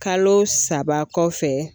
Kalo saba kɔfɛ